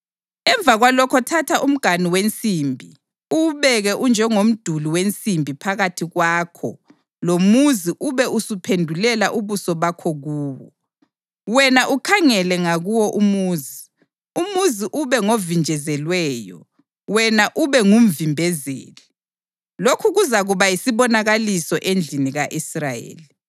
Emva kwalokho thatha umganu wensimbi, uwubeke unjengomduli wensimbi phakathi kwakho lomuzi ube usuphendulela ubuso bakho kuwo. Wena ukhangele ngakuwo umuzi, umuzi ube ngovinjezelweyo, wena ube ngumvimbezeli. Lokhu kuzakuba yisibonakaliso endlini ka-Israyeli.